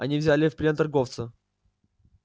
они взяли в плен торговца